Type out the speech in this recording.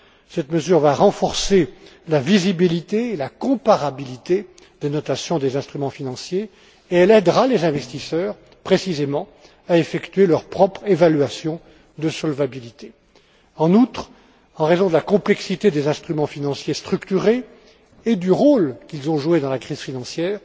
Cette mesure va renforcer la visibilité et la comparabilité des notations des instruments financiers et aidera les investisseurs, précisément, à effectuer leur propre évaluation de solvabilité. En outre, en raison de la complexité des instruments financiers structurés et du rôle qu'ils ont joué dans la crise financière,